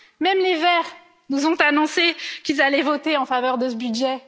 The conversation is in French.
Même les Verts nous ont annoncé qu'ils allaient voter en faveur de ce budget.